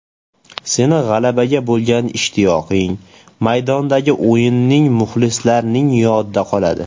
Seni g‘alabaga bo‘lgan ishtiyoqing, maydondagi o‘yining muxlislarning yodida qoladi.